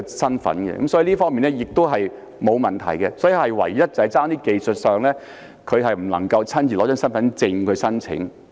申領資格方面是沒有問題的，唯一只是技術上，他不能夠親自攜帶身份證來申請。